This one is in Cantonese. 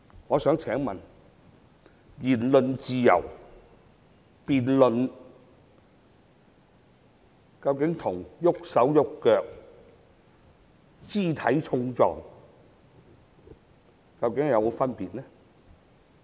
我想問言論自由和辯論究竟與動武和肢體碰撞究竟有否分別呢？